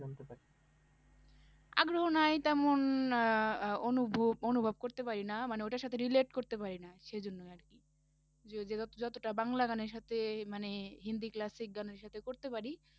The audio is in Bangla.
আগ্রহ নেই তেমন আহ আহ অনু~ অনুভব করতে পারিনা মানে ঐটার সাথে relate করতে পারি না, সেই জন্যই আর কি যদিও বা যতটা বাংলা গানের সাথে মানে হিন্দি classic গানের সাথে করতে পারি